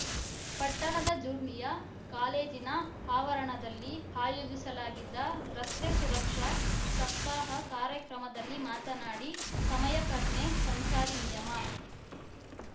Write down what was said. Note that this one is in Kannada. ಪಟ್ಟಣದ ಜ್ಯೂರ್ನಿಯ ಕಾಲೇಜಿನ ಆವರಣದಲ್ಲಿ ಆಯೋಜಿಸಲಾಗಿದ್ದ ರಸ್ತೆ ಸುರಕ್ಷಾ ಸಪ್ತಾಹ ಕಾರ್ಯಕ್ರಮದಲ್ಲಿ ಮಾತನಾಡಿ ಸಮಯ ಪ್ರಜ್ಞೆ ಸಂಚಾರಿ ನಿಯಮ